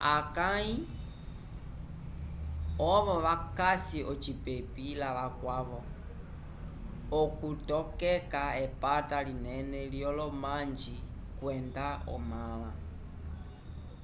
akãyi ovo vakasi ocipepi lavakwavo okutokeka epata linene lyolomanji kwenda omãla